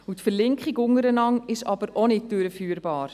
Die Verlinkung miteinander ist aber auch nicht durchführbar.